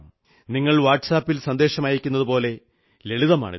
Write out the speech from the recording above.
നിങ്ങൾ വാട്സ് ആപിൽ സന്ദേശമയക്കുന്നതുപോലെ ലളിതമാണിത്